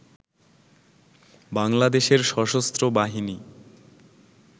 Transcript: বাংলাদেশের সশস্ত্র বাহিনী